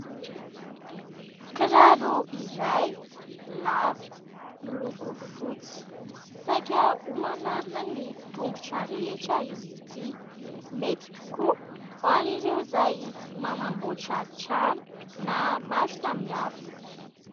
Kiraro iray lava miloko fotsy, saika ho manarona ny tongotra rehetra izy ity mety tokoa ho an'ireo izay manamboatra trano na maro samy hafa.